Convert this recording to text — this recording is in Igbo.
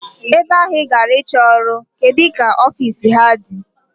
Ebe ahụ I gara ịchọ ọrụ, kedụ ka ofiisi ha dị?